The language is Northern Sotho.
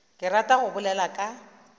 ke ratago go bolela ka